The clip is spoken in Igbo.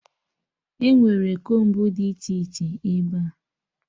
Enwere kombu dị iche iche ebea